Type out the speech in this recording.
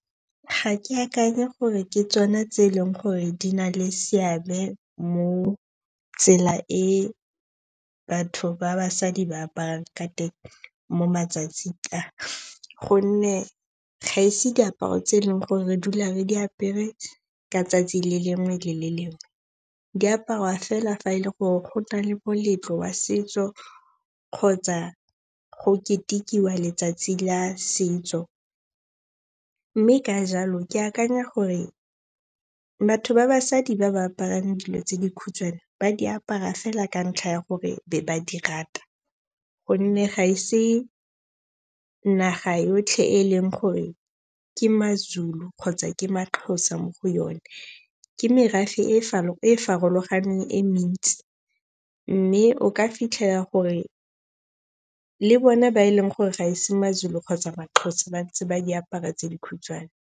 Ga ke akanye gore ke tsona tse e leng gore di na le seabe mo tsela e batho ba basadi ba aparang ka teng mo matsatsing a gonne ga ise diaparo tse e leng gore re dula re diapere ka 'tsatsi le lengwe le le lengwe. Diapariwa fela fa e le gore go na le moletlo wa setso kgotsa go ketekiwa letsatsi la setso. Mme ka jalo, ke akanya gore batho ba basadi ba ba aparang dilo tse dikhutshwane ba di apara fela ka ntlha ya gore be ba di rata gonne ga ese naga yotlhe e leng gore ke Mazulu kgotsa ke Maxhosa mo go yone. Ke merafe e e farologaneng e mentsi. Mme o ka fitlhela gore le bone ba e leng gore ga ese Mazulu kgotsa Maxhosa ba ntse ba diapara tse dikhutshwane.